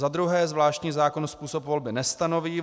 Za druhé, zvláštní zákon způsob volby nestanoví.